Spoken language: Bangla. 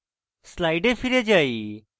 slides ফিরে যাই